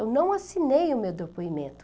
Eu não assinei o meu depoimento.